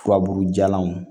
Furabulu jalanw